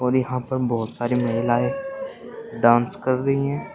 और यहां पर बहोत सारी महिलाएं डांस कर रही है।